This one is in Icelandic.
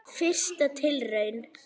Fyrsta tilraun